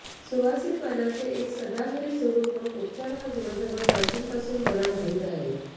सुवासिक पानांचे एक सदाहरीत झुडुप लोक उपचार हा गुणधर्म प्राचीन पासून मला माहीत आहे